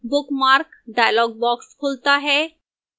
bookmark dialog box खुलता है